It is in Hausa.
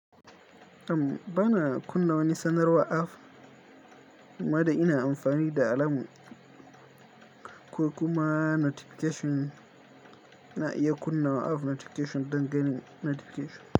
Am, bana kunna wani sanarwa app ammadai ina amfani da alarm ko kuma notification na iya kunna app notification don ganin notification.